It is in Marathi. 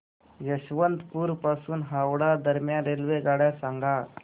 यशवंतपुर पासून हावडा दरम्यान रेल्वेगाड्या सांगा